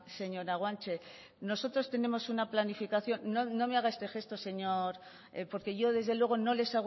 señora guanche nosotros tenemos una planificación no me haga este gesto señor porque yo desde luego no les